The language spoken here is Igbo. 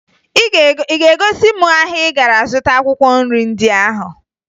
Ị ga-egosi m ahịa ị gara zụta akwụkwọ nri ndị ahụ?